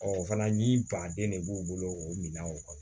o fana ye baden ne b'u bolo o minanw